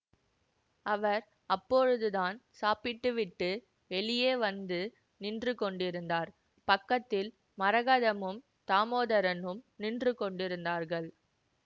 அவர் அப்பொழுதுதான் சாப்பிட்டுவிட்டு வெளியே வந்து நின்று கொண்டிருந்தார் பக்கத்தில் மரகதமும் தாமோதரனும் நின்று கொண்டிருந்தார்கள்